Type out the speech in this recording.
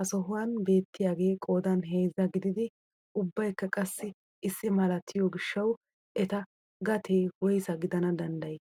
ha sohuwaan beettiyaagee qoodan heezza gididi ubbayikka qassi issi malatiyoo gishshawu eta gatee woyssa gidana danddayii?